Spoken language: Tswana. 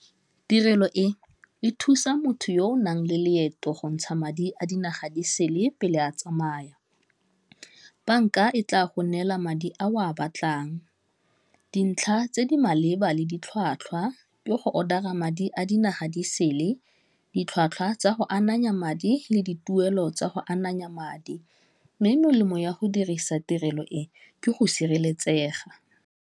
Tirelo e e thusa motho yo o nang le leeto gontsha madi a dinaga di sele pele a tsamaya, bank-a e tla go neela madi a o a batlang, dintlha tse di maleba le ditlhwatlhwa ke go order-a madi a dinaga di sele, ditlhwatlhwa tsa go ananya madi le dituelo tsa go ananya madi, mme melemo ya go dirisa tirelo e ke go sireletsega.